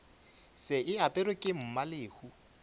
še e aperwe ke mmalehu